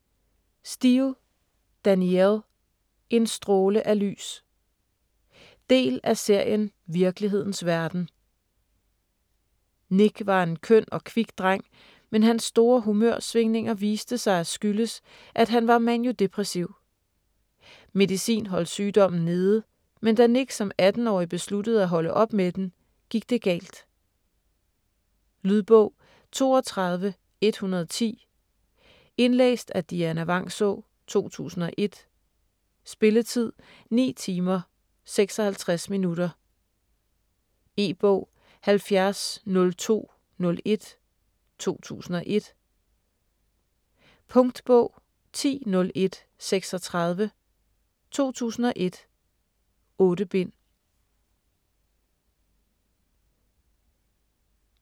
Steel, Danielle: En stråle af lys Del af serien Virkelighedens verden. Nick var en køn og kvik dreng, men hans store humørsvingninger viste sig at skyldes, at han var maniodepressiv. Medicin holdt sygdommen nede, men da Nick som 18-årig besluttede at holde op med den, gik det galt. Lydbog 32110 Indlæst af Dianna Vangsaa, 2001. Spilletid: 9 timer, 56 minutter. E-bog 700201 2001. Punktbog 100136 2001. 8 bind.